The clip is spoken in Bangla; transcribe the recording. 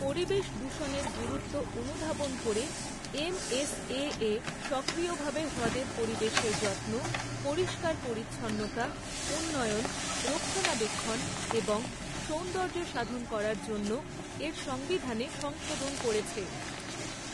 পরিবেশ দূষণের গুরুত্ব অনুধাবন করে, এম.এস.এ.এ সক্রিয়ভাবে হ্রদের পরিবেশের যত্ন, পরিষ্কার পরিচ্ছন্নতা, উন্নয়ন, রক্ষণাবেক্ষণ এবং সৌন্দর্যসাধন করার জন্য এর সংবিধানে সংশোধন করেছে।